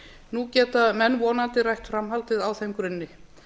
nú geta menn vonandi rætt framhaldið á þeim grunni